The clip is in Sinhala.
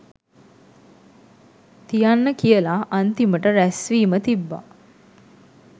තියන්න කියලා අන්තිමට රැස්වීම තිබ්බා